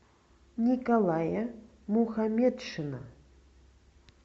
николая мухаметшина